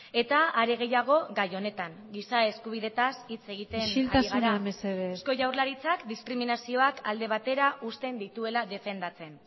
eta are gehiago gai honetan giza eskubideetaz hitz egiten ari gara isiltasuna mesedez eusko jaurlaritzak diskriminazioak alde batera uzten dituela defendatzen